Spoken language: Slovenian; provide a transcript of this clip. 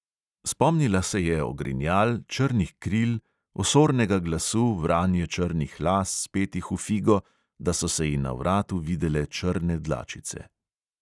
Spomnila se je ogrinjal, črnih kril, osornega glasu, vranje črnih las, spetih v figo, da so se ji na vratu videle črne dlačice.